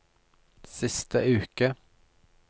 siste uke